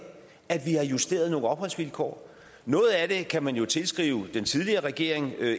at vi har justeret nogle opholdsvilkår noget af det kan man jo tilskrive den tidligere regering